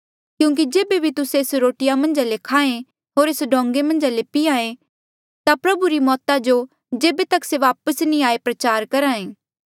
क्यूंकि जेबे भी तुस्से एस रोटीया मन्झ ले खाहें होर एस डोंगें मन्झा ले पीहां ऐें ता प्रभु री मौता जो जेबे तक से वापस नी आये प्रचार करहा ऐें